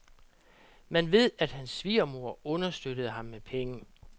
Man ved, at hans svigermor understøttede ham med penge.